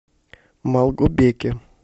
малгобеке